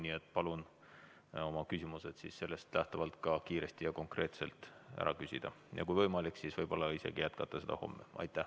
Nii et palun teil oma küsimused kiiresti ja konkreetselt ära küsida ning kui võimalik, siis isegi jätkata homme.